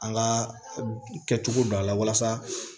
An ka kɛcogo don a la walasa